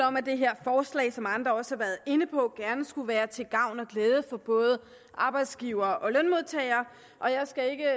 om at det her forslag som andre også har været inde på gerne skulle være til gavn og glæde for både arbejdsgivere og lønmodtagere og jeg skal ikke